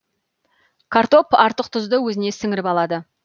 картоп артық тұзды өзіне сіңіріп алады